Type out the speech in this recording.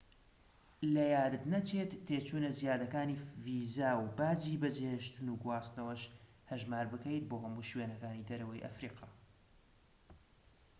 لەیادت نەچێت تێچوونە زیادەکانی ڤیزا و باجی بەجێهێشتن و گواستنەوەش هەژمار بکەیت بۆ هەموو شوێنەکانی دەرەوەی ئەفریقا